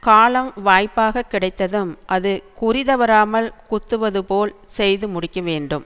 காலம் வாய்ப்பாக கிடைத்ததும் அது குறி தவறாமல் குத்துவது போல் செய்து முடிக்க வேண்டும்